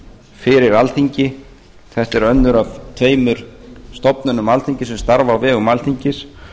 fyrir alþingi þetta er önnur af tveimur stofnunum alþingis sem starfa á vegum alþingis